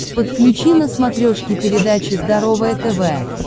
подключи на смотрешке передачу здоровое тв